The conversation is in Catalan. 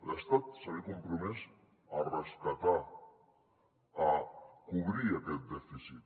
l’estat s’havia compromès a rescatar a cobrir aquest dèficit